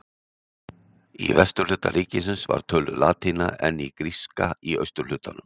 Í vesturhluta ríkisins var töluð latína en gríska í austurhlutanum.